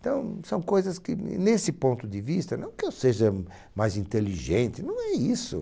Então, são coisas que, nesse ponto de vista, não que eu seja mais inteligente, não é isso.